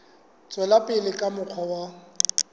tswela pele ka mokgwa wa